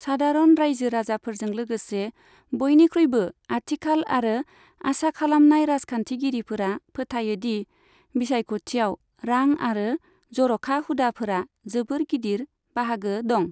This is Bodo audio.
सादारन रायजो राजाफोरजों लोगोसे बयनिख्रुइबो आथिखाल आरो आसा खालामनाय राजखान्थिगिरिफोरा फोथायो दि बिसायख'थियाव रां आरो जर'खा हुदाफोरा जोबोद गिदिर बाहागो दं।